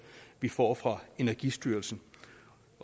vi får fra energistyrelsen